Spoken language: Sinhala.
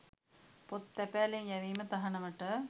පොත් තැපෑලෙන් යැවීම තහනමට